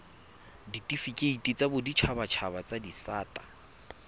ditifikeiti tsa boditshabatshaba tsa disata